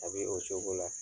A be o coko la